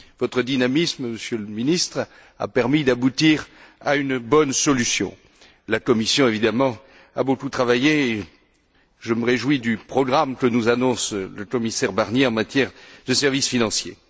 Votre dynamisme, Monsieur le Ministre, a permis d'aboutir à une bonne solution. La Commission, évidemment, a beaucoup travaillé et je me réjouis du programme que nous annonce le commissaire Barnier en matière de services financiers.